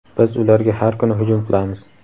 Biz ularga har kuni hujum qilamiz.